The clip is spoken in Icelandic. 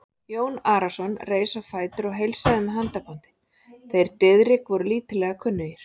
Jón Arason reis á fætur og heilsaði með handabandi, þeir Diðrik voru lítillega kunnugir.